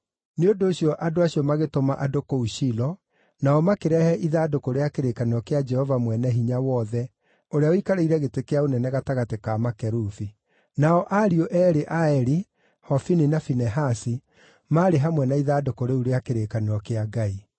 Nĩ ũndũ ũcio andũ acio magĩtũma andũ kũu Shilo, nao makĩrehe ithandũkũ rĩa kĩrĩkanĩro kĩa Jehova Mwene-Hinya-Wothe, ũrĩa ũikarĩire gĩtĩ kĩa ũnene gatagatĩ ka makerubi. Nao ariũ eerĩ a Eli, Hofini na Finehasi, maarĩ hamwe na ithandũkũ rĩu rĩa kĩrĩkanĩro kĩa Ngai.